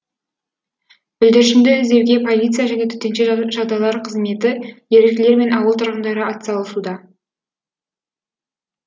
бүлдіршінді іздеуге полиция және төтенше жағдайлар қызметі еріктілер мен ауыл тұрғындары атсалысуда